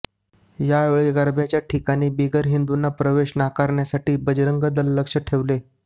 यावेळी गरब्याच्या ठिकाणी बिगर हिंदूंना प्रवेश नाकारण्यासाठी बजरंग दल लक्ष ठेवेल